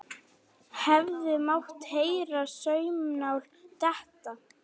Hefði mátt heyra saumnál detta.